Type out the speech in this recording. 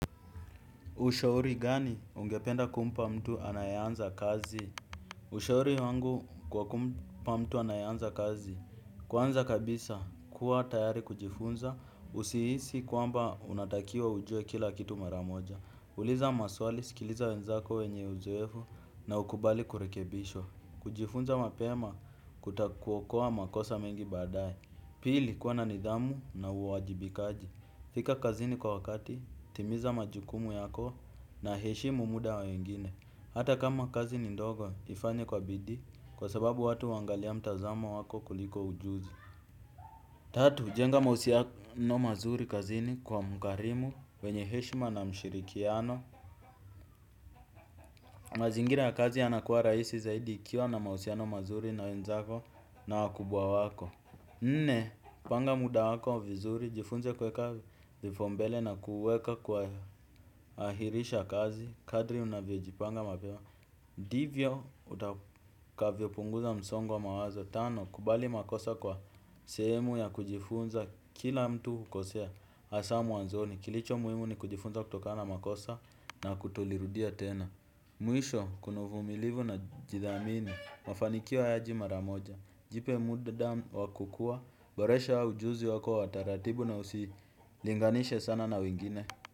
Ushauri gani ungependa kumpa mtu anaye anza kazi? Ushauri wangu kwa kumpa mtu anaye anza kazi. Kwanza kabisa, kuwa tayari kujifunza, usihisi kwamba unatakiwa ujue kila kitu maramoja. Uliza maswali, sikiliza wenzako wenye uzoevu na ukubali kurekebishwa. Kujifunza mapema kutakuokoa makosa mengi badaaye. Pili kuwa na nidhamu na uwajibikaji. Fika kazini kwa wakati, timiza majukumu yako na heshimu muda wengine. Hata kama kazi ni ndogo ifanye kwa bidii kwa sababu watu huangalia mtazamo wako kuliko ujuzi. Tatu, jenga mahusiano mazuri kazini kwa mkarimu wenye heshima na mshirikiano. Mazingira ya kazi ya nakuwa rahisi zaidi ikiwa na mahusiano mazuri na wenzako na wakubwa wako. Nne, panga muda wako vizuri, jifunze kuweka vifombele na kuweka kuhahirisha kazi, kadri unavyo jipanga mapema ndivyo, utakavyo punguza msongo wa mawazo. Tano, kubali makosa kwa sehemu ya kujifunza kila mtu ukosea hasaa mwanzoni. Kilicho muhimu ni kujifunza kutokana makosa na kutolirudia tena. Mwisho, kuna uvumilivu na kujithamini, mafanikio hayaji mara moja. Jipe muda wakukua, boresha ujuzi wako wataratibu na usilinganishe sana na wengine.